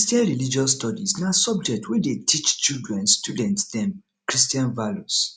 christian religious studies na subject wey dey teach children student dem christian values